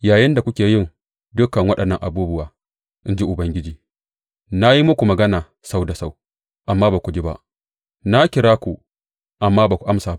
Yayinda kuke yin dukan waɗannan abubuwa, in ji Ubangiji, na yi muku magana sau da sau, amma ba ku ji ba; na kira ku, amma ba ku amsa ba.